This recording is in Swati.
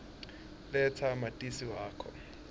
letsa matisi wakho